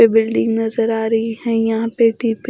ये बिल्डिंग नजर आ रही है यहां पेटी पे--